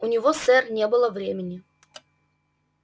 у него сэр не было времени